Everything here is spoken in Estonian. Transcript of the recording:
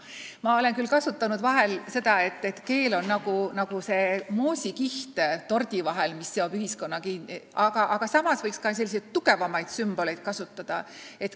Ma olen vahel kasutanud ka kujundit, et keel on nagu moosikiht tordi vahel, mis seob ühiskonna kinni, aga samas võib ka tugevamaid sümboleid kasutada.